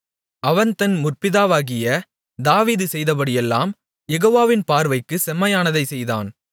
அவன் தன் முற்பிதாவாகிய தாவீது செய்தபடியெல்லாம் யெகோவாவின் பார்வைக்குச் செம்மையானதைச் செய்தான்